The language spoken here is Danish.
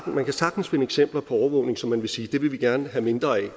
man kan sagtens finde eksempler på overvågning som man vil sige det vil vi gerne have mindre af